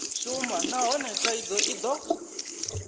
shuma nahone thaidzo i do